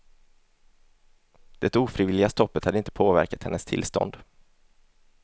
Det ofrivilliga stoppet hade inte påverkat hennes tillstånd.